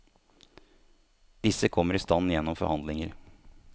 Disse kommer i stand gjennom forhandlinger.